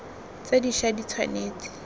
tse di ša di tshwanetse